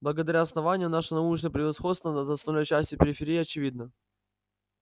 благодаря основанию наше научное превосходство над остальной частью периферии очевидно